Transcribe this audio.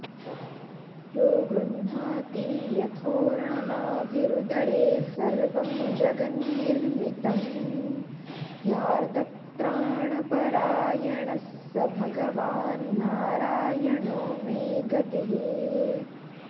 यो गृह्णाति यथोर्णनाभिरुदरे सर्वं जगन्निर्मितं ह्यार्तत्राणपरायणः स भगवान्नारायणो मे गतिः